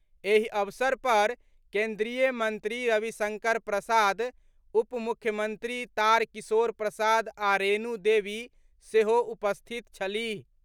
एहि अवसर पर केन्द्रीय मंत्री रविशंकर प्रसाद, उपमुख्यमंत्री तारकिशोर प्रसाद आ रेणु देवी सेहो उपस्थित छलीह।